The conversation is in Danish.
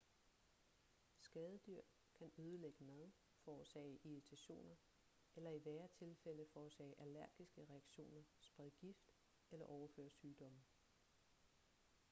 skadedyr kan ødelægge mad forårsage irritationer eller i værre tilfælde forårsage allergiske reaktioner sprede gift eller overføre sygdomme